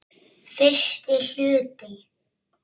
Fyrsti hluti